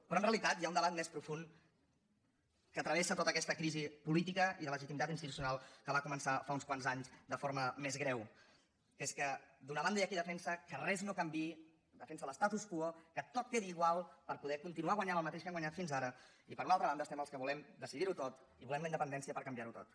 però en realitat hi ha un debat més profund que travessa tota aquesta crisi política i de legitimitat institucional que va començar fa uns quants anys de forma més greu que és que d’una banda hi ha qui defensa que res no canviï defensa l’status quo que tot quedi igual per poder continuar guanyant el mateix que han guanyat fins ara i per una altra banda hi ha els que volem decidirho tot i volem la independència per canviarho tot